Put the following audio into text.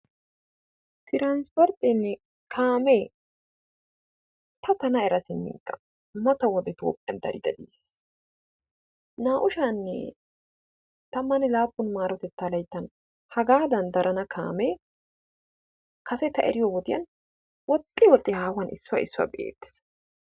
Tiransporteenne kaamee ta tana era siminkka mata wode Toophphiyan dari dari yiis. Naa'u sha'anne tammane laapun maarotettaa layttan hagaadan darana kaamee kase ta eriyode woxxi woxxi haahuwan issuwa be'eetees.